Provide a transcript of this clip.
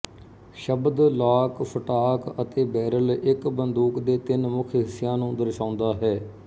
ਸ਼ਬਦ lock stock ਅਤੇ barrel ਇੱਕ ਬੰਦੂਕ ਦੇ ਤਿੰਨ ਮੁੱਖ ਹਿੱਸਿਆਂ ਨੂੰ ਦਰਸਾਉਂਦਾ ਹੈ